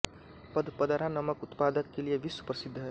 पदपदरा नमक उत्पादक के लिए विश्व प्रसिद्ध है